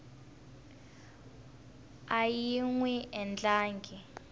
a yi n wi endlangi